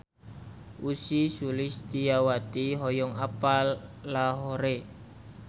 Ussy Sulistyawati hoyong apal Lahore